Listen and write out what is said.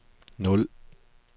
nul